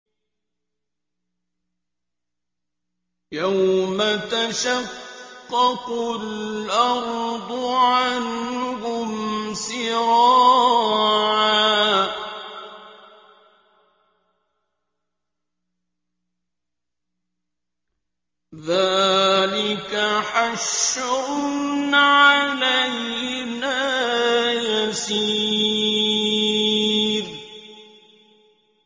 يَوْمَ تَشَقَّقُ الْأَرْضُ عَنْهُمْ سِرَاعًا ۚ ذَٰلِكَ حَشْرٌ عَلَيْنَا يَسِيرٌ